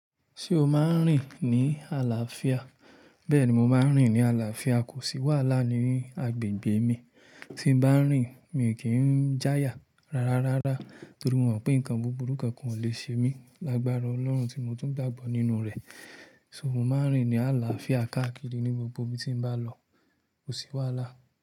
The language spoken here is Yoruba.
Ṣé o máa ń rìn ní àlàáfíà? Bẹ́ẹ̀ni, mo máa ń rìn ní àlàáfíà, kò sí wàhálà ní agbègbè mi. Tí bá ń rìn, mi ò kí ń jáya rárárárá torí mo mọ̀ pé nǹkan buburú kan kò le ṣe mí lágbára Ọlọ́run tí mo tún gbàgbọ́ nínú rẹ̀. So mo máa ń rìn ní àlàáfíà káàkiri ní gbogbo ibi tí bá lọ, kò sí wàhálà.